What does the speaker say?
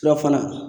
Surafana